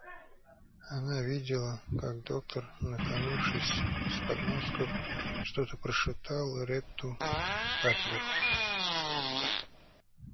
она видела как доктор наклонившись с подмостков что-то прошептал ретту батлеру